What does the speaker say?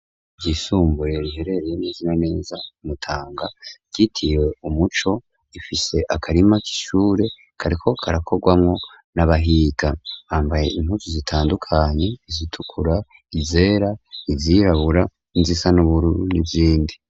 Ishure ryisumbure riherereye neza na neza ku Mutanga ryitiriwe umuco rifise akarima k'ishure kariko karakorwamwo n'abahiga bambaye impuzu zitandukanye: izitukura, izera izirabura, izisa n'ubururu n'izindi.